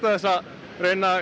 þess að reyna að